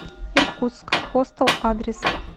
иркутск хостел адрес